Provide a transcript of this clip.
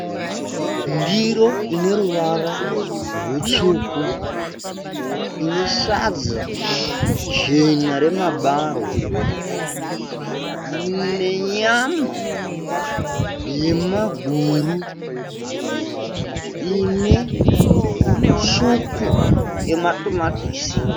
Ndiro ine ruvara rutsvuku. Ine sadza jena remabarwe nenyama yemaguru. Ine svupu yematomatisi.